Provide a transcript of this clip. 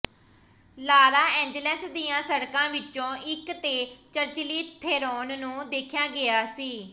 ਲਾਰਾ ਏਂਜਲਸ ਦੀਆਂ ਸੜਕਾਂ ਵਿੱਚੋਂ ਇੱਕ ਤੇ ਚਰਚਲੀ ਥੇਰੋਨ ਨੂੰ ਦੇਖਿਆ ਗਿਆ ਸੀ